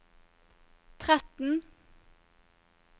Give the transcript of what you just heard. tretten